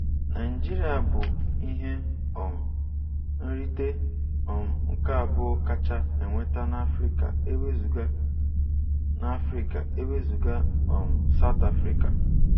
Naijiria bụ ihe um nrite um nke abụọ kacha enweta n'Afrịka ewezuga n'Afrịka ewezuga um South Africa